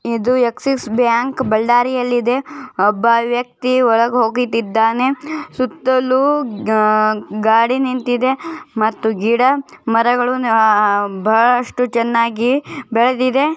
ಇದು Axis bank ಬಳ್ಳಾರಿಯಲ್ಲಿ ಇದೆ ಒಬ್ಬ ಒಳಗೆ ಹೋಗುತ್ತಿದ್ದಾನೆ ಸುತ್ತಲು ಗಾ ಗಾಡಿ ನಿಂತಿದೆ ಮತ್ತು ಗಿಡ ಮರಗಳು ಬಹಳಷ್ಟು ಚನ್ನಾಗಿ ಬೆಳೆದಿದೆ.